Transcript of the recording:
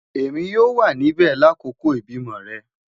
Emi yoo wa nibẹ lakoko ibimọ rẹ